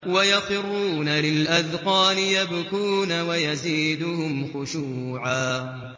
وَيَخِرُّونَ لِلْأَذْقَانِ يَبْكُونَ وَيَزِيدُهُمْ خُشُوعًا ۩